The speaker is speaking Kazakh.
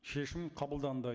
шешім қабылданды